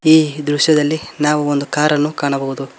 ಈ ದೃಶ್ಯದಲ್ಲಿ ನಾವು ಒಂದು ಕಾರ್ ಅನ್ನು ಕಾಣಬಹುದು.